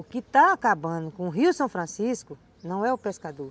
O que está acabando com o rio São Francisco não é o pescador.